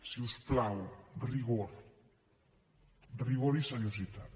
si us plau rigor rigor i seriositat